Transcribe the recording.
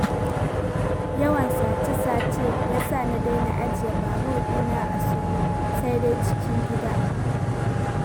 Yawan sace-sace ya sa na daina ajiye babur ɗina a soro, sai dai cikin gida.